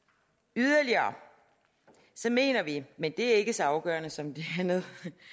yderligere mener vi men det er ikke så afgørende som det andet